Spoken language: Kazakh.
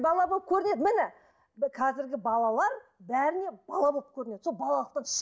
бала болып көрінеді міне қазіргі балалар бәріне бала болып көрінеді сол балалықтан